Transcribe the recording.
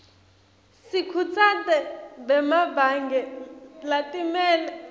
sikhutsate bemabhange latimele